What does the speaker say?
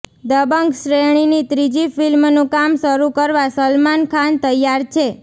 દબંગ શ્રેણીની ત્રીજી ફિલ્મનું કામ શરૂ કરવા સલમાન ખાન તૈયાર છે